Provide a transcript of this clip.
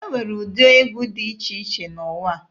E nwere ụdị egwu dị iche iche n'ụwa.